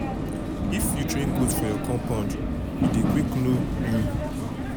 animal dey remember pesin voice especially if your voice dey gentle and e be somtin wey em don hear before.